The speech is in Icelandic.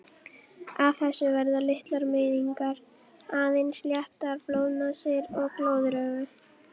Af þessu verða litlar meiðingar, aðeins léttar blóðnasir og glóðaraugu.